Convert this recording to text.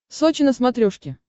сочи на смотрешке